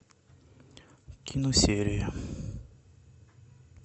кино серия